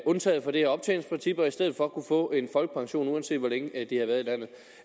undtaget for det her optjeningsprincip og i stedet for kunne få en folkepension uanset hvor længe de har været i landet